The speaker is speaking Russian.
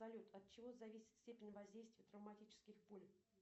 салют от чего зависит степень воздействия травматических пуль